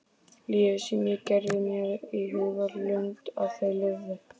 Lífið sem ég gerði mér í hugarlund að þau lifðu.